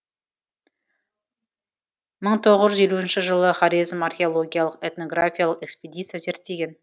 мың тоғыз жүз елуінші жылы хорезм археологиялық этнографиялық экспедиция зерттеген